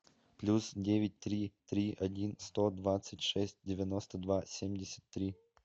плюс девять три три один сто двадцать шесть девяносто два семьдесят три